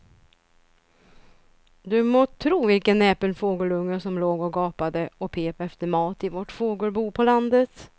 Du må tro vilken näpen fågelunge som låg och gapade och pep efter mat i vårt fågelbo på landet.